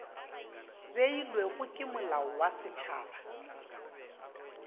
beilwego ke molao wa setšhaba